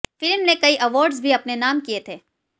film ने कई awards भी अपने नाम किए थे